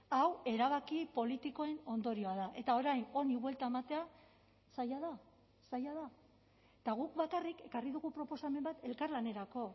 hau erabaki politikoen ondorioa da eta orain honi buelta ematea zaila da zaila da eta guk bakarrik ekarri dugu proposamen bat elkarlanerako